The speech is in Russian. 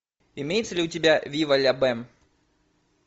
имеется ли у тебя вива ля бэм